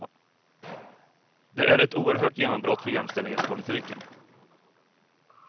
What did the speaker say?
Det är ett oerhört genombrott för jämställdhetspolitiken.